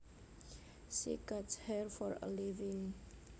She cuts hair for a living